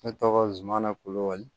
Ne tɔgɔ zumana kulubali